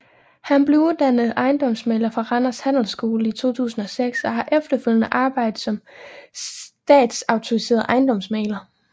Han blev uddannet ejendomsmægler fra Randers Handelsskole i 2006 og har efterfølgende arbejdet som statsautoriseret ejendomsmægler